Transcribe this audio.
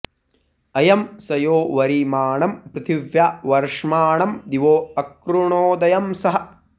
अयं स यो वरिमाणं पृथिव्या वर्ष्माणं दिवो अकृणोदयं सः